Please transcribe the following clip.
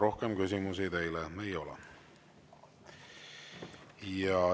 Rohkem küsimusi teile ei ole.